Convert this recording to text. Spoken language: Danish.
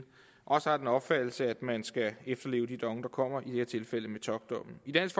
også har den opfattelse at man skal efterleve de domme der kommer i det her tilfælde metockdommen i dansk